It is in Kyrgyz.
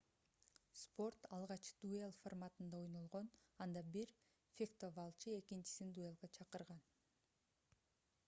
спорт алгач дуэль форматында ойнолгон анда бир фехтовалчы экинчисин дуэлге чакырган